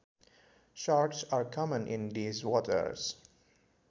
Sharks are common in these waters